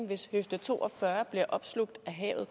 hvis høfde to og fyrre bliver opslugt af havet